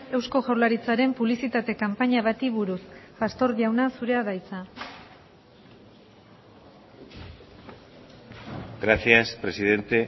eusko jaurlaritzaren publizitate kanpaina bati buruz pastor jauna zurea da hitza gracias presidente